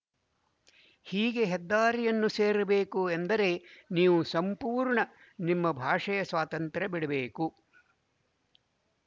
ಹೀಗೆ ಹೆದ್ದಾರಿಯನ್ನು ಸೇರಬೇಕು ಎಂದರೆ ನೀವು ಸಂಪೂರ್ಣ ನಿಮ್ಮ ಭಾಷೆಯ ಸ್ವಾತಂತ್ರ್ಯ ಬಿಡಬೇಕು